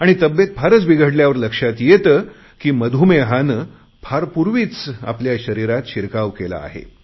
आणि तब्येत फारच बिघडल्यावर लक्षात येते की मधुमेहाने फार पूर्वीच आपल्या शरीरात शिरकाव केला आहे